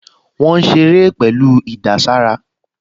Wọ́n ń ṣeré pẹ̀lú ìdàsára